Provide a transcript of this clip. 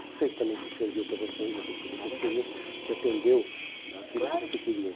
Não sei se também se serviu para vocês, aquilo que vocês queriam, claro que sim, se atendeu àquilo que você queria. Claro que sim.